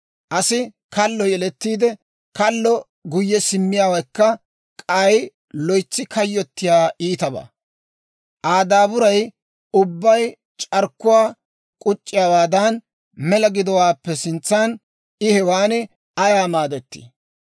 Asi kallo yelettiide, kallo guyye simmiyaawekka k'ay loytsi kayyottiyaa iitabaa. Aa daaburay ubbay c'arkkuwaa uc'c'iyaawaadan mela gidowaappe sintsan, I hewan ayaa maadettii?